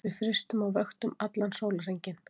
Við frystum á vöktum allan sólarhringinn